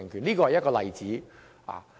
這是一個例子。